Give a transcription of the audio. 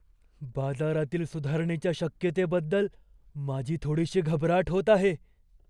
बाजारातील सुधारणेच्या शक्यतेबद्दल माझी थोडीशी घबराट होत आहे.